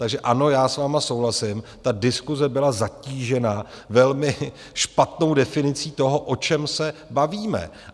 Takže ano, já s vámi souhlasím, ta diskuse byla zatížena velmi špatnou definicí toho, o čem se bavíme.